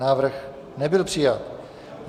Návrh nebyl přijat.